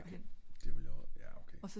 det ville jeg jaer ok